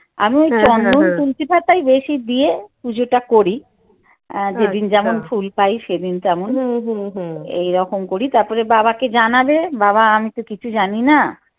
আমি ওই তুলসি পাতাই বেশি দিয়ে পুজো টা করি। এর যেসন ফুল পাই সেদিন তেমন এইরকম করি তারপরে বাবাকে জানাবে বাবা আমি তো কিছু জানি না।